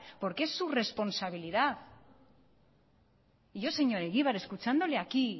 porque es su responsabilidad y yo señor egibar escuchándole aquí